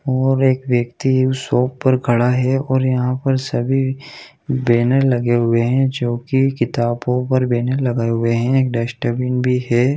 और एक व्यक्ति उस शॉप पर खड़ा है और यहाँ पर सभी बैनर लगे हुए है जो की किताबों पर बैनर लगाए हुए है एक डस्टबिन भी है।